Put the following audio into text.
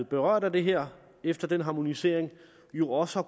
berørt af det her efter den harmonisering jo også har